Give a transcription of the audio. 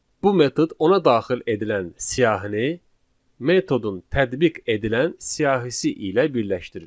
Bu metod ona daxil edilən siyahını metodun tətbiq edilən siyahisi ilə birləşdirir.